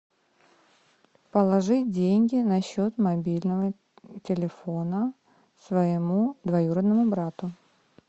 положить деньги на счет мобильного телефона своему двоюродному брату